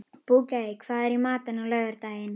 Bogey, hvað er í matinn á laugardaginn?